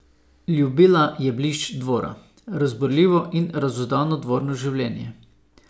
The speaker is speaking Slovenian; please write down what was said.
Ljubila je blišč dvora, razburljivo in razuzdano dvorno življenje.